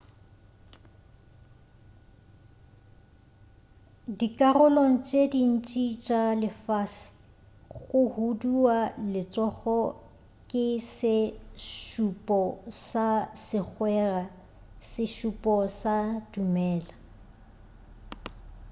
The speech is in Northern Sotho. dikarolong tše dintši tša lefase go huduwa letsogo ke se šupo sa segwera sešupo sa dumela